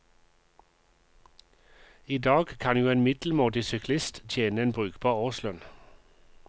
I dag kan jo en middelmådig syklist tjene en brukbar årslønn.